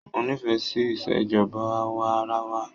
Mo nifẹ sí Ìṣèjọba awa-ara-wa.